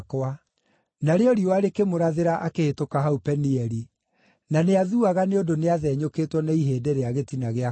Narĩo riũa rĩkĩmũrathĩra akĩhĩtũka hau Penieli, na nĩathuaga nĩ ũndũ nĩathenyũkĩtwo nĩ ihĩndĩ rĩa gĩtina gĩa kũgũrũ.